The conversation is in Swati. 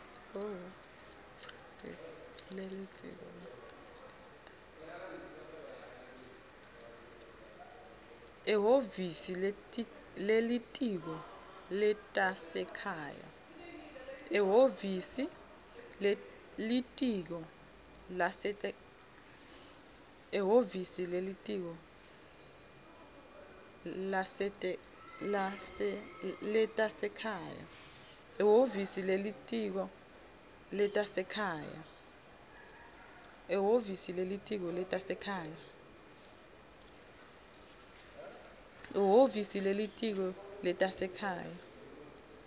ehhovisi lelitiko letasekhaya